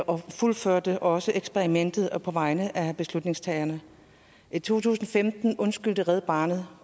og fuldførte også eksperimentet på vegne af beslutningstagerne i to tusind og femten undskyldte red barnet